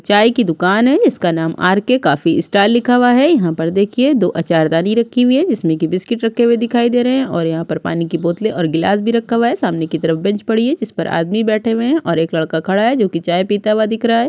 चाय की दुकान है जिसका नाम आर. के. कॉफी स्टॉल लिखा हुआ है यहाँ पर देखिए दो आचार दानी रखी हुई है जिसमें की बिस्किट रखे हुए दिखाई दे है और यहाँ पर पानी की बोतले ओर ग्लास भी रखा हुआ है सामने की तरफ बेंच पड़ी है जिस पर की आदमी बैठे हुए है और एक लड़का खड़ा है जो कि चाय पीता हुआ दिख रहा है।